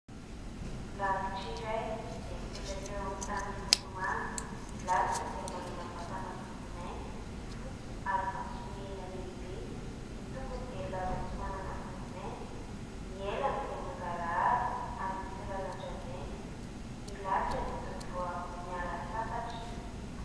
Lalitra iray izay mipetraka eo amin'ny tany miloko manga. Ny lalitra dia manana vatana volo mainty sy fotsy ary maso mena lehibe, ny tongony dia lava sy manana volo mainty, ny elany dia mangarahara ary misy lalan-drà mainty. Ny lalitra dia toa vao avy niala sasatra.